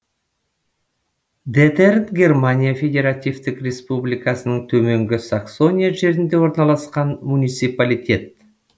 детерн германия федеративтік республикасының төменгі саксония жерінде орналасқан муниципалитет